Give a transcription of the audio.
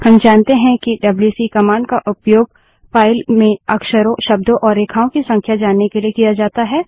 हम जानते हैं कि डब्ल्यू सी कमांड का उपयोग फाइल में अक्षरों शब्दों और रेखाओं की संख्या जानने के लिए किया जाता है